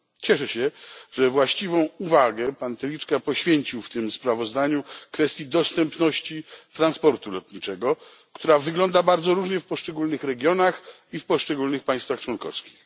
Cieszę się, że właściwą uwagę pan Telička poświęcił w tym sprawozdaniu kwestii dostępności transportu lotniczego, która wygląda bardzo różnie w poszczególnych regionach i w poszczególnych państwach członkowskich.